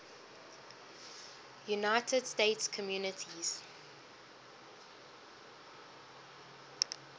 united states communities